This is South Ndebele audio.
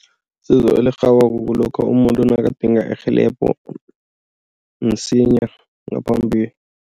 Isizo elirhabako kulokha umuntu nabadinga irhelebho msinya ngaphambi.